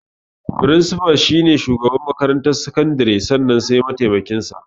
Firinsifa shi ne shugaban makarantar sakandare sannan sai mataimakin sa.